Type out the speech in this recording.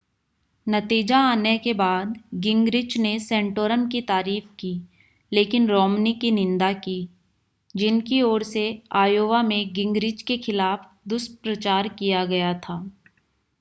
नतीजा आने के बाद गिंगरिच ने सेंटोरम की तारीफ की लेकिन रोमनी की निंदा की जिनकी ओर से आयोवा में गिंगरिच के खिलाफ दुष्प्रचार किया गया था